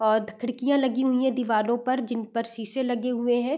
और खिड़कियां लगी हुई है दीवारों पर जिन पर शीशे लगे हुए हैं।